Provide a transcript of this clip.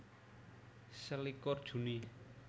Selikur Juni